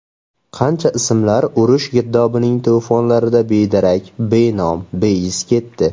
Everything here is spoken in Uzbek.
Qancha ismlar urush girdobining to‘fonlarida bedarak, benom, beiz ketdi.